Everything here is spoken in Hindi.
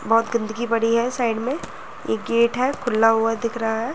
बहुत गंदगी बड़ी है साइड में। ये गेट है खुला हुआ दिख रहा है।